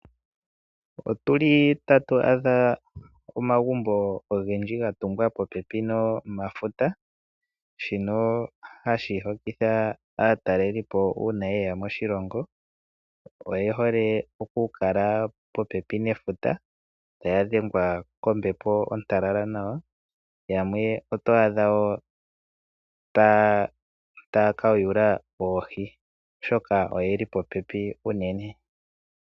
Otuli tatu adha omagumbo ogendji gatungwa popepi nomafuta. Shino hashi hokitha aatalelipo uuna yeya moshilongo. Oye hole okukala popepi nefuta taya dhengwa kombepo ontalala nawa. Yamwe oto adha woo taya kayula oohi, oshoka oyeli popepi uunene.